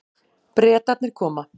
Bretarnir koma.